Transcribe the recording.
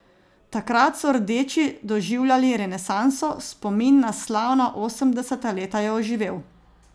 Takrat so rdeči doživljali renesanso, spomin na slavna osemdeseta leta je oživel.